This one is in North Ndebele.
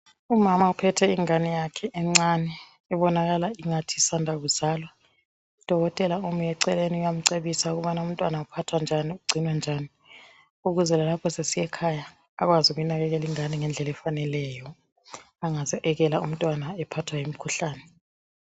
umama uphethe ingane yakhe encane ebonakala ingathi isanda kuzalwa udokotela ume eceleni uyamcebisa ukubana umntwana uphathwa njani ugcinwa njani ukuze lalapho esesiya ekhaya akwazi ukunakekela ingane ngendlela efaneleyo angaze ekela umntwana ephathwa yimkhuhlane